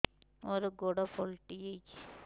ମୋର ଗୋଡ଼ ପାଲଟିଛି